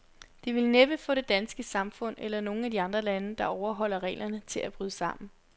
Det vil næppe få det danske samfund, eller nogen af de andre lande, der overholder reglerne, til at bryde sammen.